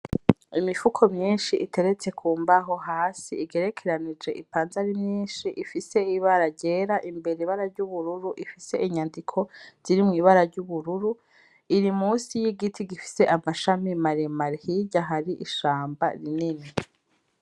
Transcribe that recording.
Imifuko myishi iteretse ku mbaho hasi igerekeranije ipanze ari myishi ifise ibara ryera imbere ibara ry'ubururu ifise inyandiko ziri mu ibara ry'ubururu, iri musi y'igiti gifise amashami maremare hirya hari ishamba rinini.